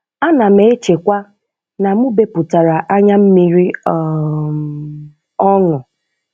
Ánà m échèkwá nà mụ́ bépụ̀tàrà ányámmiri um ọ́ṅụ̀